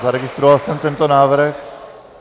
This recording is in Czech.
Zaregistroval jsem tento návrh.